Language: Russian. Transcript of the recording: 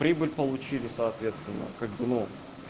прибыль получили соответственно как бы ну